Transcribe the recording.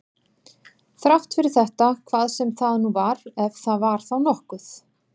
Þrátt fyrir þetta hvað sem það nú var, ef það var þá nokkuð.